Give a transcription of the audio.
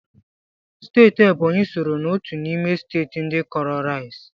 Steeti Ebonyi sooro n'otu n'ime steeti ndị kọọrọ rais